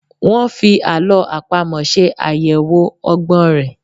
Wọ́́n fi àlọ́ àpamọ̀ ṣe àyẹlwò ọgbọ́n rẹ̀.